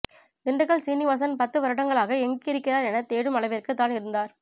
திண்டுக்கல் சீனிவாசன் பத்து வருடங்களாக எங்கு இருக்கிறார் என தேடும் அளவிற்கு தான் இருந்தார்